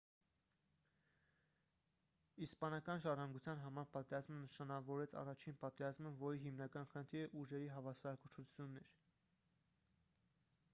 իսպանական ժառանգության համար պատերազմը նշանավորեց առաջին պատերազմը որի հիմնական խնդիրը ուժերի հավասարակշռությունն էր